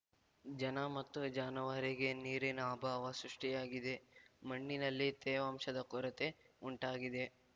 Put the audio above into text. ಜನ ಮತ್ತು ಜಾನುವಾರಿಗೆ ನೀರಿನ ಅಭಾವ ಸೃಷ್ಟಿಯಾಗಿದೆ ಮಣ್ಣಿನಲ್ಲಿ ತೇವಾಂಶದ ಕೊರತೆ ಉಂಟಾಗಿದೆ